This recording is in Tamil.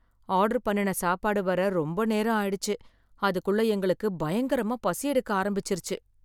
ஆர்டர் பண்ணுன சாப்பாடு வர ரொம்ப நேரம் ஆயிடுச்சு, அதுக்குள்ள எங்களுக்கு பயங்கரமா பசியெடுக்க ஆரம்பிச்சிருச்சு